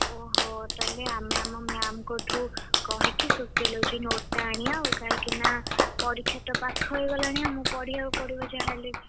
ଓହୋ ତାହେଲେ ଆମେ ଆମ ma'am ଙ୍କଠୁ କହିକି Sociology note ଟା ଆଣିଆ ଆଉ କାହିଁକି ନା ପରୀକ୍ଷା ତ ପାଖଇଗଲାଣି ଆମକୁ ପଢିଆ କୁ ପଡିବ ଯାହା ହେଲେ ବି।